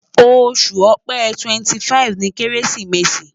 Oṣu Ọ̀pẹ 25th ni keresimesi